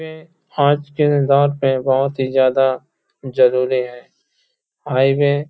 ये आज के दौर पर बहुत ही ज्यादा जरुरी है। हाईवे --